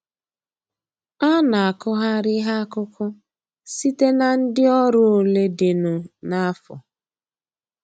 A na akụgharị ihe akụkụ site na ndị ọrụ ole dịnụ n'afo